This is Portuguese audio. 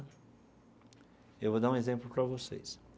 Eu vou dar um exemplo para vocês.